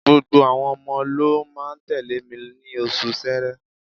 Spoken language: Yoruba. Gbogbo àwọn ọmọ ló máa tẹ̀lé mi ní oṣù Ṣẹẹrẹ.